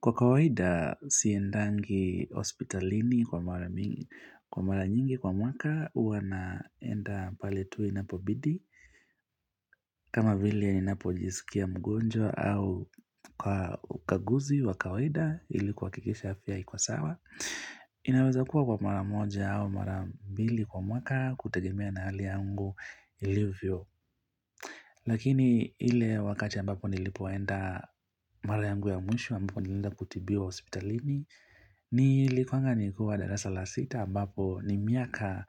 Kwa kawaida siendangi hospitalini kwa mara nyingi kwa mwaka hua naenda pale tu inapobidi kama vile ninapo jisikia mgonjwa au ukaguzi wa kawaida ili kuhakikisha afya iko sawa. Inaweza kuwa kwa mara moja au mara mbili kwa mwaka kutegemea na hali yangu ilivyo. Lakini ile wakati ambapo nilipoenda marayangu ya mwisho ambapo nilienda kutibiwa hospitalini Nilikuanga nikuwa darasa la sita ambapo ni miaka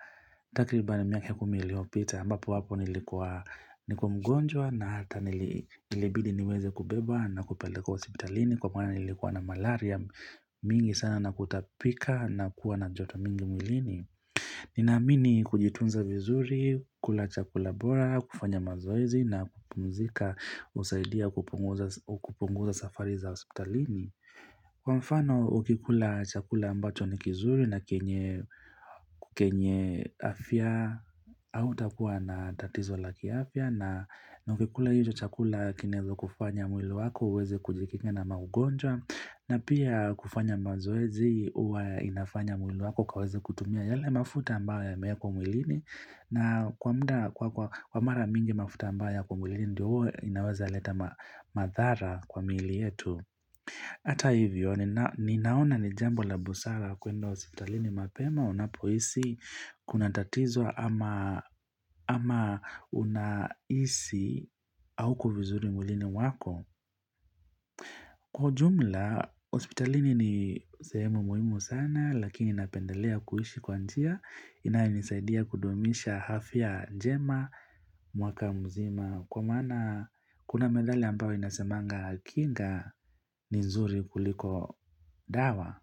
takribani miaka kumi iliopita ambapo wapo nilikuwa nikuwa mgonjwa na hata ilibidi niweze kubebwa na kupelekwa hospitalini Kwa maana nilikuwa na malaria mingi sana na kutapika na kuwa na joto mingi mwilini Ninaamini kujitunza vizuri, kula chakula bora, kufanya mazoezi na kupumzika husaidia kupunguza safari za hospitalini. Kwa mfano, ukikula chakula ambacho ni kizuri na kenye afya autakua na tatizo la kiafya na ukikula hiyo chakula kinaeza kufanya mwili wako, uweze kujikinga na maugonjwa. Na pia kufanya mazoezi huwa inafanya mwili wako kuweza kutumia yale mafuta ambayo yameakwa mwilini na kwa mara mingi mafuta ambayo yako mwilini ndio huwa inaweza leta madhara kwa miili yetu Ata hivyo, ninaona ni jambo la busara kuenda hospitalini mapema unapoisi kuna tatizo ama unahisi auko vizuri mwilini mwako Kwa ujumla, hospitalini ni sehemu muhimu sana lakini napendelea kuiishi kwa njia inayonisaidia kudumisha afya njema mwaka mzima kwa mana kuna methali ambao inasemanga kinga ni nzuri kuliko dawa.